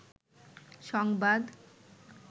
সংবাদ